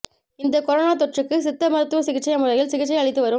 இந்தக் கொரொனா தொற்றுக்கு சித்த மருத்துவ சிகிச்சை முறையில் சிகிச்சை அளித்துவரும்